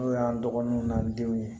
N'o y'an dɔgɔnunw n'an denw ye